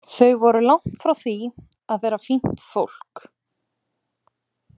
Þau voru langt frá því að vera fínt fólk.